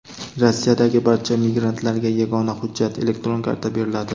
Rossiyadagi barcha migrantlarga yagona hujjat — elektron karta beriladi.